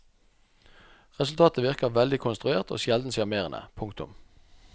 Resultatet virker veldig konstruert og sjelden sjarmerende. punktum